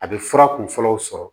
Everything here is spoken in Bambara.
A bɛ fura kun fɔlɔw sɔrɔ